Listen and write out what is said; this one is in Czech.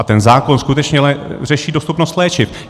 A ten zákon skutečně řeší dostupnost léčiv.